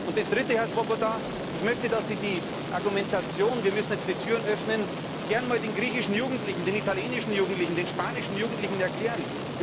Das Dritte, Herr Swoboda Ich möchte, dass Sie die Argumentation, wir müssten jetzt die Türen öffnen, gerne einmal den griechischen Jugendlichen, den italienischen Jugendlichen, den spanischen Jugendlichen erklären!